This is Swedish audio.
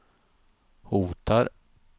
hotar